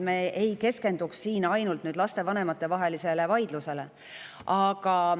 Me ei keskenduma ainult lastevanemate vahelisele vaidlusele.